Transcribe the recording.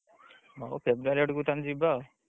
ହଉ February ଆଡକୁ ତାହେଲେ ଯିବା ଆଉ।